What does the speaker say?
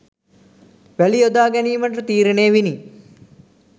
වැලි යොදා ගැනීමට තීරණය විණි.